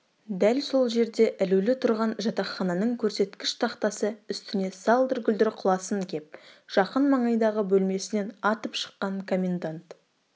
дәл сол жерде ілулі тұрған жатақхананың көрсеткіш тақтасы үстіне салдыр-гүлдір құласын кеп жақын маңайдағы бөлмесінен атып шыққан коммендант